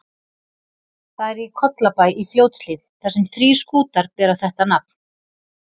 Það er í Kollabæ í Fljótshlíð, þar sem þrír skútar bera þetta nafn.